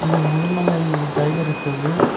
இது Mudumalai tiger reserve .